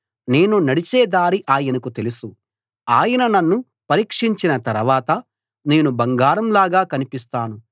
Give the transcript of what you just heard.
నేను నడిచే దారి ఆయనకు తెలుసు ఆయన నన్ను పరీక్షించిన తరవాత నేను బంగారంలాగా కనిపిస్తాను